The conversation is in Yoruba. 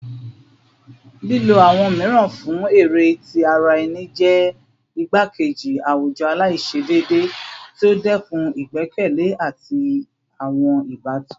Lilo awọn miiran fun ere ti ara ẹni jẹ igbakeji awujọ alaiṣedeede ti o dẹkun igbẹkẹle ati awọn ibatan